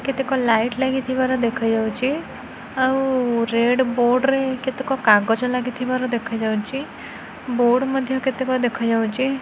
କେତେକ ଲାଇଟ୍ ଲାଗିଥିବାର ଦେଖାଯାଉଚି ଆଉ ରେଡ୍ ବୋର୍ଡ ରେ କେତେକ କାଗଜ ଲାଗିଥିବାର ଦେଖାଯାଉଚି ବୋର୍ଡ ମଧ୍ୟ କେତେକ ଦେଖାଯାଉଚି ।